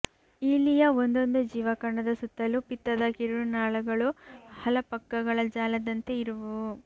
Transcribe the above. ಈಲಿಯ ಒಂದೊಂದು ಜೀವಕಣದ ಸುತ್ತಲೂ ಪಿತ್ತದ ಕಿರುನಾಳಗಳು ಹಲಪಕ್ಕಗಳ ಜಾಲದಂತೆ ಇರುವುವು